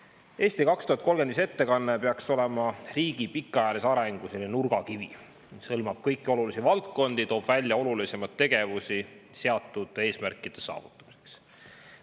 Strateegia "Eesti 2035" ettekanne peaks olema riigi pikaajalise arengu nurgakivi, mis hõlmab kõiki olulisi valdkondi ja toob välja olulisemaid tegevusi seatud eesmärkide saavutamiseks.